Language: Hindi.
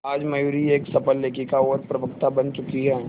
आज मयूरी एक सफल लेखिका और प्रवक्ता बन चुकी है